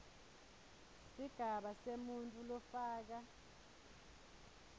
sigaba semuntfu lofaka